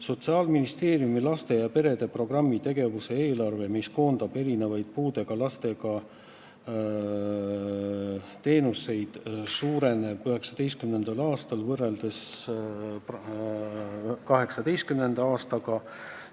Sotsiaalministeeriumi laste ja perede programmi tegevuse eelarve, mis koondab erinevaid puudega lastele osutatavaid teenuseid, 2019. aastal võrreldes 2018. aastaga suureneb.